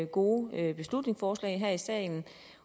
gode beslutningsforslag her i salen